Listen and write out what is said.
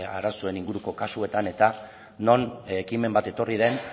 arazoen inguruko kasuetan eta non ekimen bat etorri den